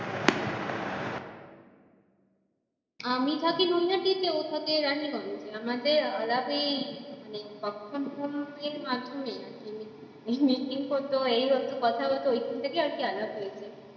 আমি থাকি নৈহাটী তে ও থাকে রানীগঞ্জ এ আমাদের আলাপ ওই করতো কথা বলতো ওইখান থাকেই আর কি আলাপ হয়েছে